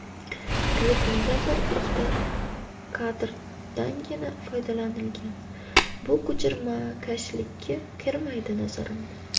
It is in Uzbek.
Klipimda bir-ikkita kadrdangina foydalanilgan, bu ko‘chirmakashlikka kirmaydi, nazarimda.